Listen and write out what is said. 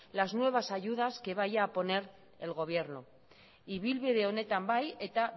las nuevas ayudas que vaya a poner el gobierno ibilbide honetan bai eta